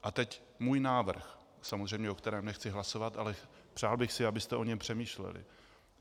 A teď můj návrh, samozřejmě o kterém nechci hlasovat, ale přál bych si, abyste o něm přemýšleli.